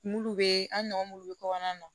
bɛ an nɔgɔn mulu be kɔɲɔn na